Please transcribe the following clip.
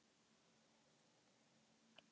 Við hliðina á sjónvarpinu útvarp.